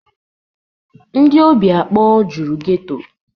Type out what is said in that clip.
Ndị óbì akpọ juru geto.